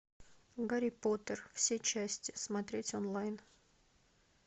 гарри поттер все части смотреть онлайн